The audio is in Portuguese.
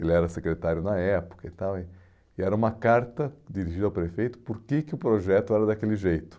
ele era secretário na época e tal, e e era uma carta dirigida ao prefeito, por que que o projeto era daquele jeito.